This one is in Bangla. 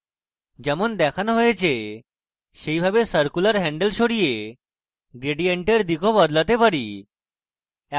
যেমন দেখানো হয়েছে সেইভাবে আমরা circular হ্যান্ডেল সরিয়ে gradient we দিক of বদলাতে পারি